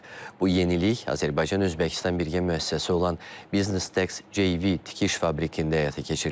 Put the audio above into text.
Bu yenilik Azərbaycan-Özbəkistan birgə müəssisəsi olan Business Tex JV tikiş fabrikində həyata keçiriləcək.